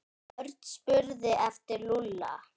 Örn spurði eftir Lúlla.